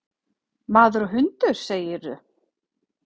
Maður og hundur, segirðu?